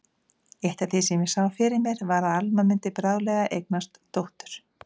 Eitt af því sem ég sá fyrir var að Alma mundi bráðlega eignast dóttur.